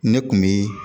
Ne kun bi